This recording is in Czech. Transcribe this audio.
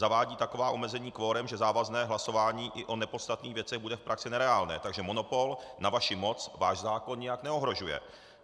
Zavádí taková omezení kvorem, že závazné hlasování i o nepodstatných věcech bude v praxi nereálné, takže monopol na vaši moc váš zákon nijak neohrožuje.